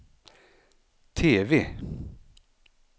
TV